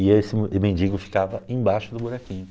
E esse mendigo ficava embaixo do buraquinho.